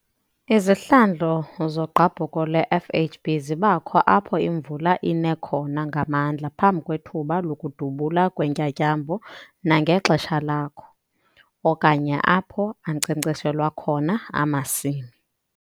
Izihlandlo zogqabhuko lwe-FHB zibakho apho imvula ine khona ngamandla phambi kwethuba lokudubula kweentyatyambo nangexesha lakho, okanye apho ankcenkceshelwa khona amasimi.